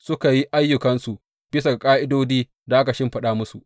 Suka yi ayyukansu bisa ga ƙa’idodin da aka shimfiɗa musu.